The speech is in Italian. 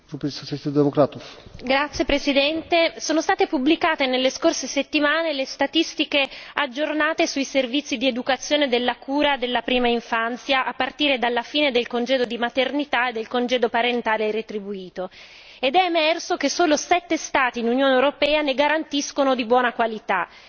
Signor Presidente, onorevoli colleghi, sono state pubblicate nelle scorse settimane le statistiche aggiornate sui servizi di educazione e della cura della prima infanzia, a partire dalla fine del congedo di maternità e dal congedo parentale retribuito, ed è emerso che solo sette Stati nell'Unione europea ne garantiscono di buona qualità.